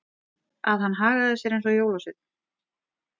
Að hann hagaði sér alveg eins og jólasveinn.